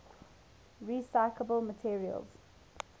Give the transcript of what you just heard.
recyclable materials